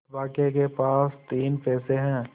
अभागे के पास तीन पैसे है